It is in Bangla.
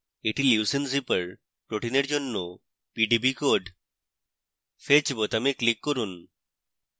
এটি leucine zipper protein জন্য pdb code fetch বোতামে click করুন